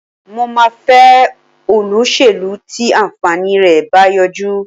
Mo máa fẹ́ olóṣèlú tí àǹfààní rẹ̀ bá yọjú